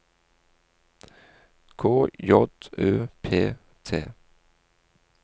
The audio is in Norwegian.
K J Ø P T